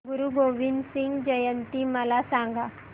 गुरु गोविंद सिंग जयंती मला सांगा